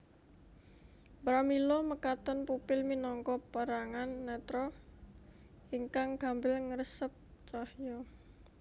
Pramila mekaten pupil minangka perangan netra ingkang gampil ngresep cahya